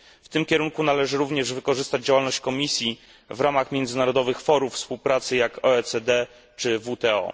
W tym kierunku należy również wykorzystać działalność Komisji w ramach międzynarodowych forów współpracy, takich jak OECD czy WTO.